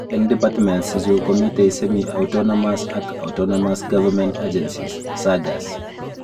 Eng departments ichu komitei Semi-Autonomous ak Autonomous government agencies (SAGAs)